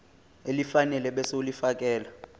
elifanele ebese ulifiakela